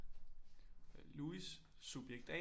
Louis subjekt A